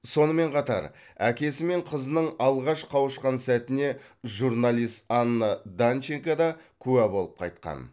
сонымен қатар әкесі мен қызының алғаш қауышқан сәтіне журналист анна данченко да куә болып қайтқан